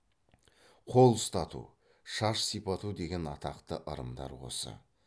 қол ұстату шаш сипату деген атақты ырымдар осы